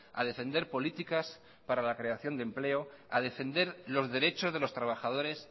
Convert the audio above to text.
a defender políticas para la creación de empleo a defender los derechos de los trabajadores